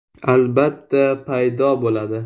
Albatta, paydo bo‘ladi.